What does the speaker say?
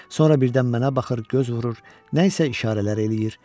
Sonra birdən mənə baxır, göz vurur, nəysə işarələr eləyir.